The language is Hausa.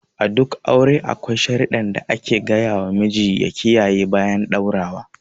A duk aure akwai sharidan da ake ga yawa namiji ya kiyaye bayan ɗaura.